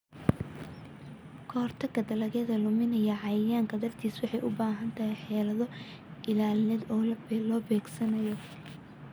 Ka-hortagga dalagyada luminaya cayayaanka dartiis waxay u baahan tahay xeelado ilaalineed oo la beegsanayo.